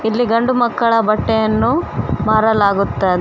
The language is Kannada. ಇಲ್ಲಿ ಗಂಡು ಮಕ್ಕಳ ಬಟ್ಟೆಯನ್ನು ಮಾರಲಾಗುತ್ತದೆ.